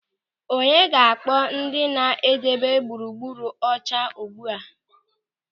Onye ga-akpọ ndị na-edebe gburugburu ọcha ugbu a?